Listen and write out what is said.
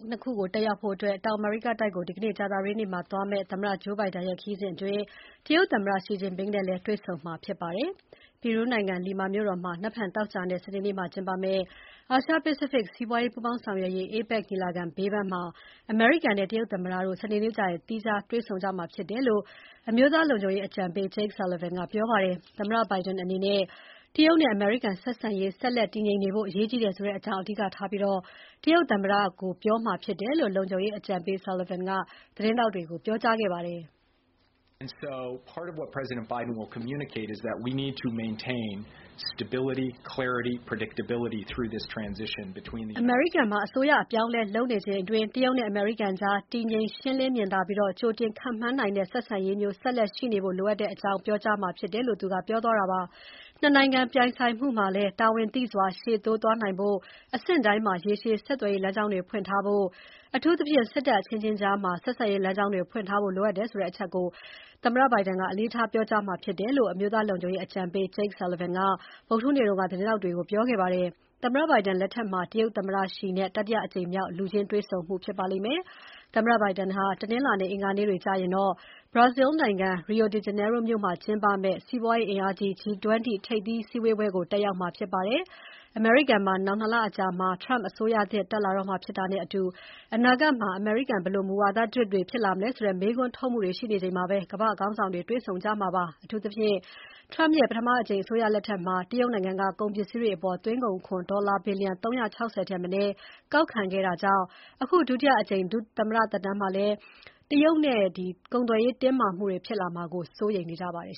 နှစ်ခုတက်ရောက်ဖို့ ဒီနေ့ ကြာသပတေးနေ့ တောင်အမေရိကတိုက်ကိုသွားမယ့် သမ္မတ Joe Biden ရဲ့ခရီးစဉ်အတွင်း တရုတ်သမ္မတ Xi Jinping နဲ့လည်း တွေ့ဆုံမှာဖြစ်ပါတယ်။ ပီရူးနိုင်ငံ Lima မြို့တော်မှာ နက်ဖြန်သောကြာနဲ့ စနေနေ့မှာကျင်းပမယ့် အာရှ-ပစိဖိတ် စီးပွားရေး ပူးပေါင်းဆောင်ရွက်ရေး APEC ညီလာခံဘေးပန်းမှာ အမေရိကန်နဲ့တရုတ်သမ္မတတို့ စနေနေ့ကျရင် တွေ့ဆုံမှာဖြစ်တယ်လို့ အမျိုးသားလုံခြုံရေးအကြံပေး Jake Sullivan ကပြောပါတယ်။ သမ္မတ Biden အနေနဲ့ တရုတ်နဲ့အမေရိကန်ဆက်ဆံရေး ဆက်လက်တည်ငြိမ်နေဖို့ အရေးကြီးကြောင်း အဓိကထားပြီးတရုတ်သမ္မတကို ပြောမှာဖြစ်တယ်လို့ လုံခြုံရေးအကြံပေး Sullivan က သတင်းထောက်တွေကို ပြောခဲ့ပါတယ်။ ‘အမေရိကန်မှာ အစိုးရအပြောင်းအလဲလုပ်နေချိန်အတွင်း တရုတ်နဲ့အမေရိကန်ကြား တည်ငြိမ်၊ ရှင်းလင်းမြင်သာပြီးကြိုတင်ခန့်မှန်းနိုင်တဲ့ ဆက်ဆံရေးမျိုး ဆက်လက်ရှိနေဖို့ လိုအပ်ကြောင်း ပြောမှာ ဖြစ်တယ်’ လို့ ပြောသွားတာပါ။ ၂နိုင်ငံပြိုင်ဆိုင်မှုမှာလည်း တာဝန်သိစွာရှေ့တိုးသွားနိုင်ဖို့ အဆင့်တိုင်း မှာ ရေရှည်ဆက်သွယ်ရေးလမ်းကြောင်းတွေ ဖွင့်ထားဖို့၊ အထူးသဖြင့် စစ်တပ်အချင်းချင်းကြားမှာ ဆက်ဆံရေးလမ်းကြောင်းတွေ ဖွင့်ထားဖို့ လိုအပ်တယ်ဆိုတဲ့ အချက်ကို အလေးထားပြောကြားမှာ ဖြစ်တယ်လို့ အမျိုးသားလုံခြုံရေးအကြံပေး Jake Sullivan က ဗုဒ္ဓဟူးနေ့တုန်းကသတင်းထောက်တွေ ကို ပြောခဲ့ပါတယ်။ သမ္မတ Biden လက်ထက်မှာ တရုတ်သမ္မတ Xi နဲ့ တတိယအကြိမ်မြောက် လူချင်းတွေ့ဆုံမှုဖြစ်ပါလိမ့်မယ်။ သမ္မတ Biden ဟာ တနင်္လာနဲ့ အင်္ဂါနေ့တွေကျရင်တော့ Brazil နိုင်ငံ Rio de Janeiro မြို့မှာကျင်းပမယ့် စီးပွားရေးအင်အားကြီး G20 ထိပ်သီး စည်းဝေးပွဲကို တက်ရောက်မှာဖြစ်ပါတယ်။ အမေရိကန်မှာ နောင် ၂ လအကြာမှာ Trump အစိုးရသစ်တက်လာတော့မှာဖြစ်တာနဲ့အတူ အနာဂတ်မှာ ဘယ်လို မူဝါဒသစ်တွေ ဖြစ်လာမလဲဆိုတဲ့ မေးခွန်းထုတ်မှုတွေ ရှိနေချိန်မှာ ကမ္ဘာ့ခေါင်းဆောင်တွေ တွေ့ဆုံကြမှာ ဖြစ်ပါတယ်။ အထူးသဖြင့် Trump ရဲ့ ပထမအကြိမ် အစိုးရလက်ထက်က တရုတ်နိုင်ငံက ကုန်ပစ္စည်းတွေအပေါ် သွင်းကုန်ခွန်ဒေါ်လာ ဘီလျံ ၃၆၀ ထက်မနည်းကောက်ခံခဲ့တာကြောင့် အခု ဒုတိအကြိမ် သမ္မတသက်တမ်းမှာလည်း တရုတ်နဲ့ ကုန်သွယ်ရေးတင်းမာမှုတွေ ဖြစ်လာမှာကို စိုးရိမ်နေကြပါတယ်